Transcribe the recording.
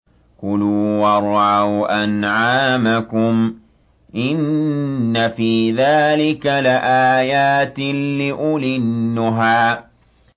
كُلُوا وَارْعَوْا أَنْعَامَكُمْ ۗ إِنَّ فِي ذَٰلِكَ لَآيَاتٍ لِّأُولِي النُّهَىٰ